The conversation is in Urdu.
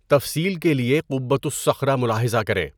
تفصیل کے لیے قُبّۃُ الصَّخرۃ ملاحظہ کریں۔